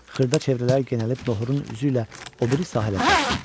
Xırda çevrələr genəlib nohura üzüylə o biri sahilə çatdı.